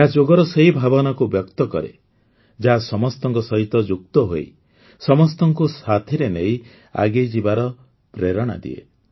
ଏହା ଯୋଗର ସେହି ଭାବନାକୁ ବ୍ୟକ୍ତକରେ ଯାହା ସମସ୍ତଙ୍କ ସହିତ ଯୁକ୍ତ ହୋଇ ସମସ୍ତଙ୍କୁ ସାଥିରେ ନେଇ ଆଗେଇଯିବାର ପ୍ରେରଣା ଦିଏ